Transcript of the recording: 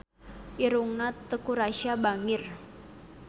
Irungna Teuku Rassya bangir